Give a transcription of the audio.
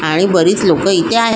आणि बरीच लोक इथे आहेत.